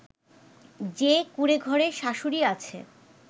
যে কুঁড়েঘরে শাশুড়ী আছে